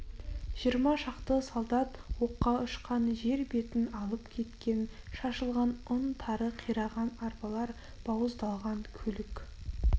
жиырма шақты солдат оққа ұшқан жер бетін алып кеткен шашылған ұн тары қираған арбалар бауыздалған көлік